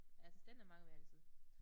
Assistenter mangler vi altid